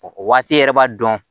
O waati yɛrɛ b'a dɔn